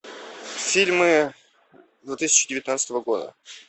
фильмы две тысячи девятнадцатого года